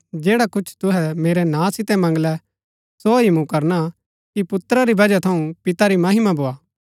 जैडा कुछ तूहै मेरै नां सितै मंगलै सो ही मूँ करणा कि पुत्रा री बजह थऊँ पिता री महिमा भोआ